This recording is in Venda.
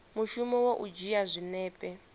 mushumo wa u dzhia zwinepe